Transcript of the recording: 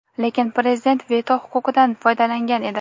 lekin Prezident veto huquqidan foydalangan edi.